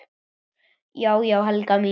Já já, Helga mín.